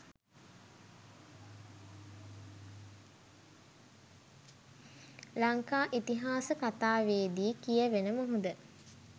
ලංකා ඉතිහාස කතාවේ දී කියැවෙන මුහුද